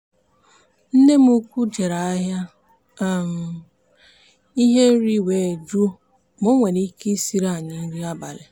nne m ukwu jere ahịa um ihe nri were jụọ ma o nwere ike ịsiri anyị nri abalị.